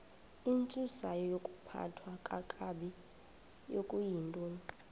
intsusayokuphathwa kakabi okuyintoni